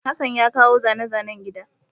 Hassan ya kawo zane-zanen gida.